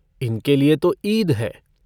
इनके लिए तो ईद है।